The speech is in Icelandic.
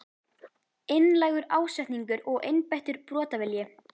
Einlægur ásetningur og einbeittur brotavilji?